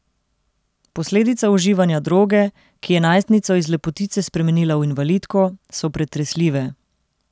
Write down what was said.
Posledice uživanja droge, ki je najstnico iz lepotice spremenila v invalidko, so pretresljive.